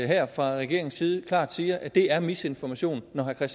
her fra regeringens side klart siger at det er misinformation når herre